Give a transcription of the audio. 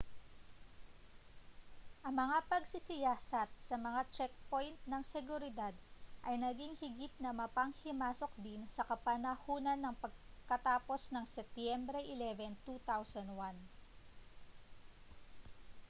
ang mga pagsisiyasat sa mga checkpoint ng seguridad ay naging higit na mapanghimasok din sa kapanahunan ng pagkatapos ng setyembre 11 2001